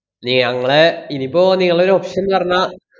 നി അങ്ങളെ, ഇനിപ്പോ നിങ്ങള്‍ടൊരു option ന്ന് പറഞ്ഞാ,